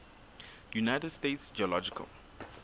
united states geological